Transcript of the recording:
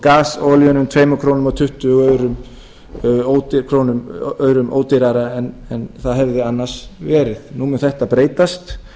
gas og olían um tvö komma tuttugu krónum ódýrara en það hefði annars verið nú mun þetta breytast